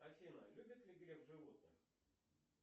афина любит ли греф животных